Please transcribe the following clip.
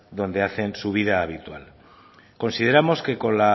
donde hacen su vida habitual consideramos que con